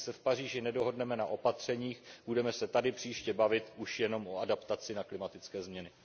A jestli se v Paříži nedohodneme na opatřeních, budeme se tady příště bavit už jenom o adaptaci na klimatické změny.